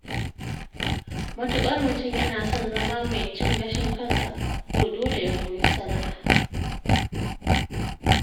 matuƙar mutum yana son zama mai cin gashin kansa, to dole ya koyi sana’a.